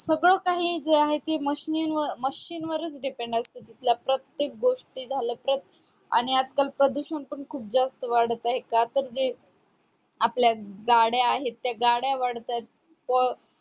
सगळं जे काही आहे ते machine वरच depend असत तिथलं प्रत्येक गोष्टी झाल्या आणि आजकाल तर प्रदूषण पण खूप जास्त वाढत आहे का तर जे आपल्या गाड्या आहेत ते गाड्या वाढतायत तर